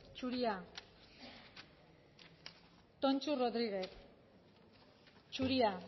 zuria tonxu rodriguez zuria